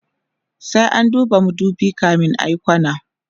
sai an duba madubi kamin ayi kwana